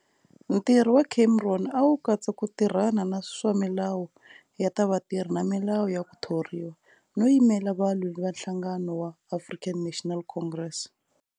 Ntirho wa Cameron a wu katsa ku tirhana na swa milawu ya ta vatirhi na milawu ya ku thoriwa, no yimela valwi va nhlangano wa African National Congress.